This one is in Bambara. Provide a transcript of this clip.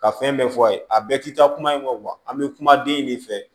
Ka fɛn bɛɛ fɔ a ye a bɛɛ tɛ taa kuma in kɔ an bɛ kuma den de fɛ